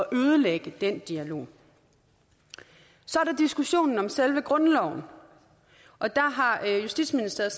ødelægge den dialog så er der diskussionen om selve grundloven og der har justitsministeriet